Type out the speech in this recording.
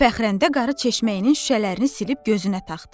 Fəxrənnə qarı çeşməyinin şüşələrini silib gözünə taxdı.